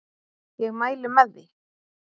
Ég mæli með því!